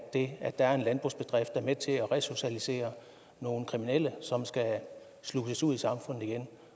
det at der er en landbrugsbedrift er med til at resocialisere nogle kriminelle som skal sluses ud i samfundet igen